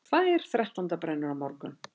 Tvær þrettándabrennur á morgun